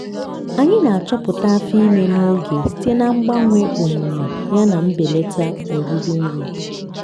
anyị na-achọpụta afọ ime n'oge site na mgbanwe omume yana mbelata oriri nri.